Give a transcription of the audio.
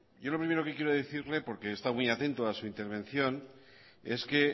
yo lo primero que quiero decirle porque he estado muy atento a su intervención es que